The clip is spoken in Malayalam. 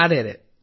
അതേ അതേ